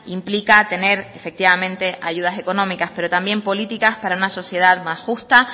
implica tener efectivamente ayudas económicas pero también políticas para una sociedad más justa